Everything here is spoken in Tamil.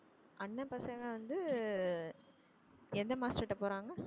அண்ணன் பசங்க வந்து எந்த master ட்ட போறாங்க